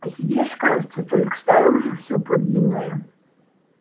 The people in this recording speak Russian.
сидишь кажется только снаружи всё подлинное